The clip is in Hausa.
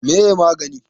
waye magini?